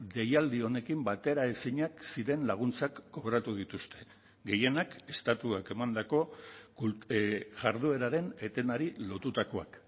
deialdi honekin bateraezinak ziren laguntzak kobratu dituzte gehienak estatuak emandako jardueraren etenari lotutakoak